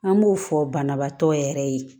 An b'o fɔ banabaatɔ yɛrɛ ye